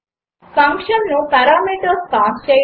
ఫంక్షన్కు parameters pass చేయడం